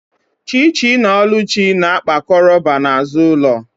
Chichi na oluchi na-akpa koroba n’azụ ụlọ